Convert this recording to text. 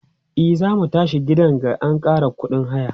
e zamu tashi a gidan ga an Kara ƙuɗin haya